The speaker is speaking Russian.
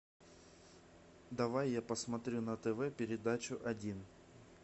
давай я посмотрю на тв передачу один